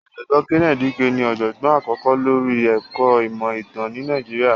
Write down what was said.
Ọ̀jọ̀gbọ́n Kenneth Dike ní ọ̀jọ̀gbọ́n àkọ́kọ́ lóri ẹ̀kọ́ ìmọ̀ ìtàn ni Nàìjíríà.